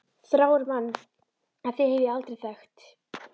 Þrárri mann en þig hef ég aldrei þekkt!